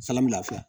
Salafiya